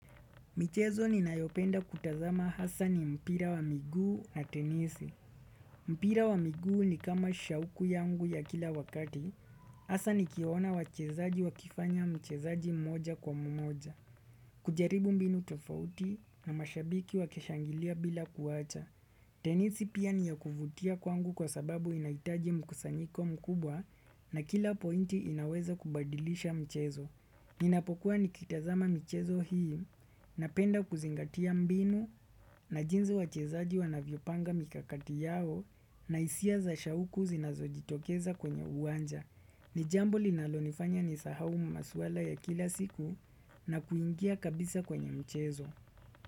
Michezo ni nayopenda kutazama hasa ni mpira wa miguu na tenisi. Mpira wa migu ni kama shauku yangu ya kila wakati, hasa nikiona wachezaji wakifanya mchezaji mmoja kwa mmoja. Kujaribu mbinu tofauti na mashabiki wa kishangilia bila kuwacha. Tenisi pia ni ya kuvutia kwangu kwa sababu inaitaji mkusanyiko mkubwa na kila pointi inaweza kubadilisha michezo. Ninapokuwa nikitazama michezo hii na penda kuzingatia mbinu na jinzi wachezaji wanavyo panga mikakati yao na hisia za shauku zinazo jitokeza kwenye uwanja. Nijambo linalonifanya nisahau maswala ya kila siku na kuingia kabisa kwenye michezo.